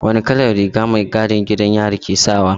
Wane kalar rigar mai gadin gidan yari ke sawa?